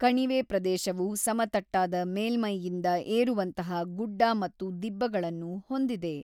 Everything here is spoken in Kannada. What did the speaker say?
ಕಣಿವೆ ಪ್ರದೇಶವು ಸಮತಟ್ಟಾದ ಮೇಲ್ಮೈಯಿಂದ ಏರುವಂತಹ ಗುಡ್ಡ ಮತ್ತು ದಿಬ್ಬಗಳನ್ನು ಹೊಂದಿದೆ.